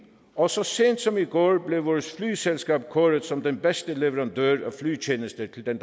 og så sent som i går blev vores flyselskab kåret som den bedste leverandør af flytjenester til den